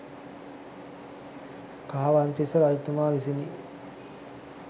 කාවන්තිස්ස රජතුමා විසිනි.